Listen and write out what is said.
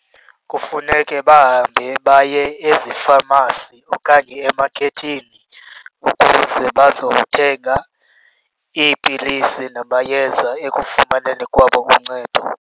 Kufuneke bahambe baye ezifamasi okanye emakethi ukuze bazothenga iipilisi namayeza ekufumaneni kwabo uncedo.